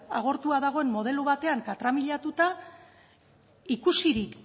agortua dagoen modelo batean katramilatuta ikusirik